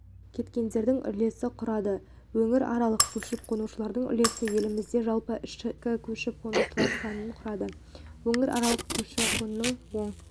кеткендердің үлесі құрады өңіраралық көшіп-қонушылардың үлесіне еліміздің жалпы ішкі көшіп-қонушылар санының кұрады өңіраралық көші-қонның оң